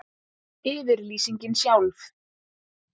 Yfirlýsingin sjálf.